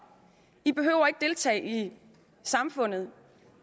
i behøver ikke deltage i samfundet